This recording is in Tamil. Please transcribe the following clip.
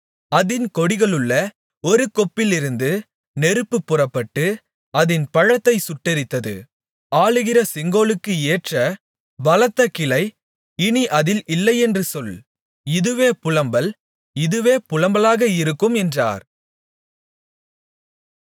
அதின் கொடிகளிலுள்ள ஒரு கொப்பிலிருந்து நெருப்பு புறப்பட்டு அதின் பழத்தைச் சுட்டெரித்தது ஆளுகிற செங்கோலுக்கு ஏற்ற பலத்த கிளை இனி அதில் இல்லையென்று சொல் இதுவே புலம்பல் இதுவே புலம்பலாக இருக்கும் என்றார்